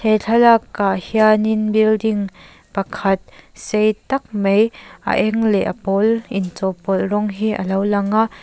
he thlakak ah hianin building pakhat sei tak mai a eng leh a pawl inchawhpawlh rawng hi a lo lang a.